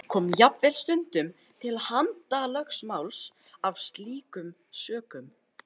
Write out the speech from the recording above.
Kom jafnvel stundum til handalögmáls af slíkum sökum.